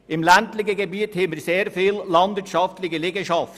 Im ländlichen Gebiet haben wir sehr viele landwirtschaftliche Liegenschaften.